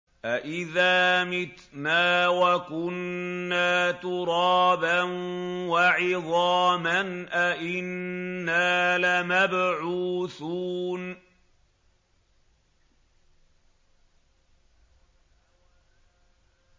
أَإِذَا مِتْنَا وَكُنَّا تُرَابًا وَعِظَامًا أَإِنَّا لَمَبْعُوثُونَ